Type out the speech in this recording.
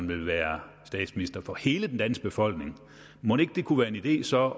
ville være statsminister for hele den danske befolkning mon ikke det kunne være en idé så at